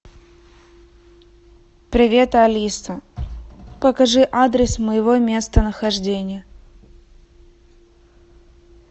привет алиса покажи адрес моего местонахождения